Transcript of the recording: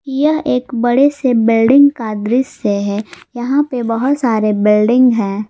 यह एक बड़े से बिल्डिंग का दृश्य है यहां पर बहुत सारे बिल्डिंग है।